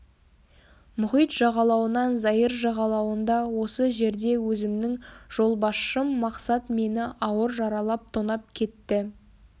мұхит жағалауынан заир жағалауында осы жерде өзімнің жолбасшым мақсат мені ауыр жаралап тонап кетті